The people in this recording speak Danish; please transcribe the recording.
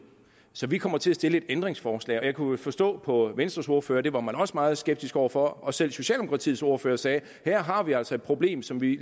så vi kommer til at stille et ændringsforslag jeg kunne forstå på venstres ordfører at det var man også meget skeptisk over for og selv socialdemokratiets ordfører sagde her har vi altså et problem som vi